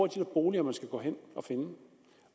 de boliger man skal gå hen at finde